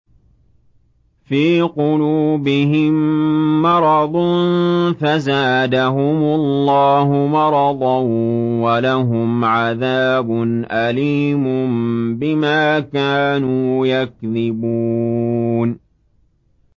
فِي قُلُوبِهِم مَّرَضٌ فَزَادَهُمُ اللَّهُ مَرَضًا ۖ وَلَهُمْ عَذَابٌ أَلِيمٌ بِمَا كَانُوا يَكْذِبُونَ